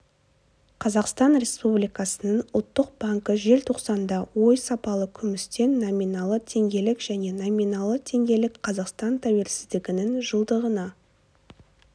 қазақстан республикасының ұлттық банкі желтоқсанда оі сапалы күмістен номиналы теңгелік және номиналы теңгелік қазақстан тәуелсіздігінің жылдығына